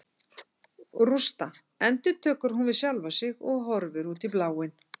Rústa, endurtekur hún við sjálfa sig og horfir út í bláinn.